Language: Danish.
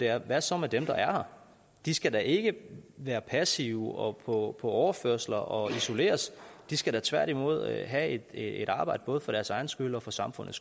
er hvad så med dem der er her de skal da ikke være passive og og på overførsler og isoleres de skal da tværtimod have et arbejde både for deres egen skyld og for samfundets